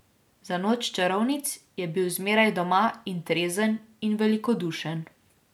Za noč čarovnic je bil zmeraj doma in trezen in velikodušen.